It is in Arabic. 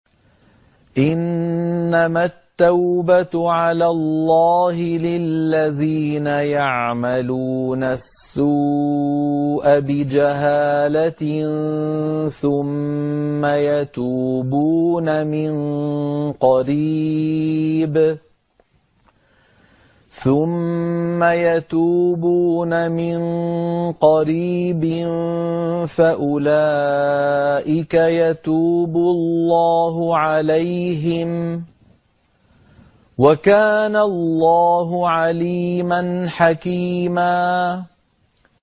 إِنَّمَا التَّوْبَةُ عَلَى اللَّهِ لِلَّذِينَ يَعْمَلُونَ السُّوءَ بِجَهَالَةٍ ثُمَّ يَتُوبُونَ مِن قَرِيبٍ فَأُولَٰئِكَ يَتُوبُ اللَّهُ عَلَيْهِمْ ۗ وَكَانَ اللَّهُ عَلِيمًا حَكِيمًا